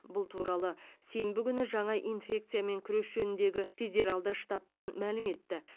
бұл туралы сенбі күні жаңа инфекциямен күрес жөніндегі федералды штабтан мәлім етті